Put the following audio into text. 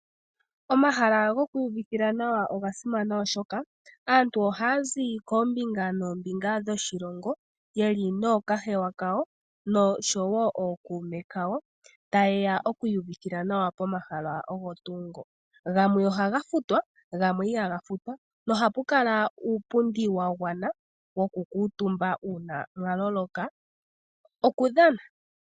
Omahala gokwiiyuvithila nawa oga simana, oshoka aantu ohaa zi koombinga noombinga dhoshilongo ye li nookahewa kawo, noshowo ookuume kawo, taye ya okwiiyuvithila nawa pomahala ogo tuu ngo. Gamwe ohaga futwa, gamwe ihaga futwa, nohapu kala uupundi wa gwana wokukuutumba uuna mwa loloka okudhana.